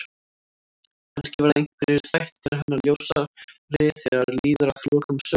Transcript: Kannski verða einhverjir þættir hennar ljósari þegar líður að lokum sögunnar.